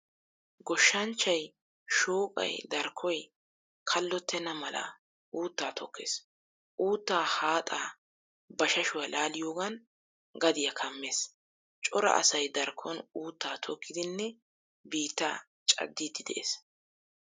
Goshshanchchay shooqqay darkkoy kallottena mala uutta tokkees. Uuttaa haaxxaa bashashuwaa laaliyoogan gadiyaa kamees. Cora asay darkkon uutta tokkidinne biittaa caddidi de'ees.